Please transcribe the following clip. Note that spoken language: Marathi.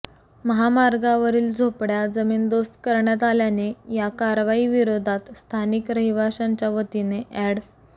महामार्गावरील झोपड्या जमीनदोस्त करण्यात आल्याने या कारवाई विरोधात स्थानिक रहिवाशांच्या वतीने ऍड